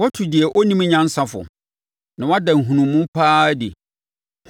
Woatu deɛ ɔnnim nyansa fo! Na woada nhunumu pa ara adi!